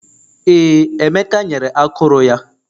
Ee, Emeka nyere akụrụ ya